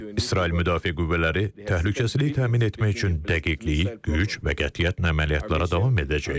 İsrail Müdafiə Qüvvələri təhlükəsizlik təmin etmək üçün dəqiqlik, güc və qətiyyətlə əməliyyatlara davam edəcək.